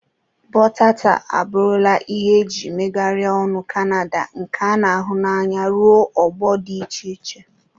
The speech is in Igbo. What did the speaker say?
Bọta tar abụrụla ihe eji megharịa ọnụ Kanada nke a na-ahụ n'anya ruo ọgbọ dị iche iche.